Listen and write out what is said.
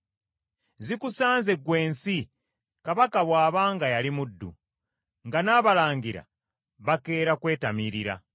Zikusanze gw’ensi kabaka bw’aba nga yali muddu, nga n’abalangira bakeera kwetamiirira!